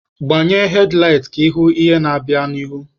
Gbanye hedlaịt ka ịhụ ihe na-abịa n'ihu!